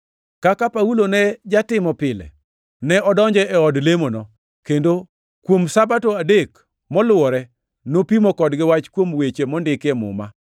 Kaka Paulo ne jatimo pile, ne odonjo e od lemono, kendo kuom Sabato adek moluwore, nopimo kodgi wach kuom weche mondiki e Muma.